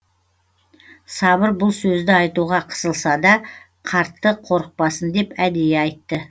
сабыр бұл сөзді айтуға қысылса да қартты қорықпасын деп әдейі айтты